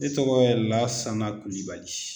Ne tɔgɔ ye Lasana Kulibali.